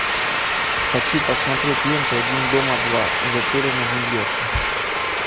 хочу посмотреть ленту один дома два затерянный в нью йорке